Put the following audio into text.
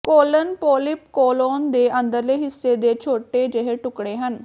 colon polyp colon ਦੇ ਅੰਦਰਲੇ ਹਿੱਸੇ ਦੇ ਛੋਟੇ ਜਿਹੇ ਟੁਕੜੇ ਹਨ